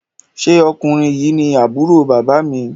ṣe Ọkùnrin yí ní Àbúrò bàbá mi?